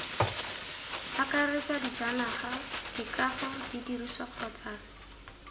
akaretsa dijanaga dikago didirisiwa kgotsa